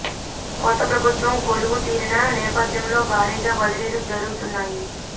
కొత్త ప్రభుత్వం కొలువు తీరిన నేపథ్యంలో భారీగా బదిలీలు జరు గుతున్నాయి